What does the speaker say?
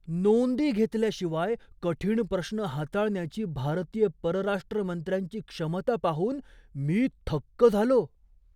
नोंदी घेतल्याशिवाय कठीण प्रश्न हाताळण्याची भारतीय परराष्ट्र मंत्र्यांची क्षमता पाहून मी थक्क झालो!